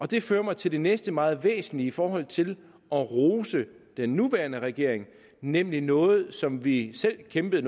det fører mig til det næste meget væsentlige i forhold til at rose den nuværende regering nemlig noget som vi selv kæmpede